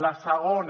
la segona